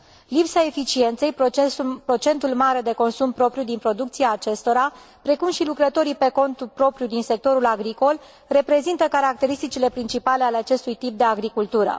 Lipsa eficienței, procentul mare de consum propriu din producția acestora, precum și lucrătorii pe cont propriu din sectorul agricol, reprezintă caracteristicile principale ale acestui tip de agricultură.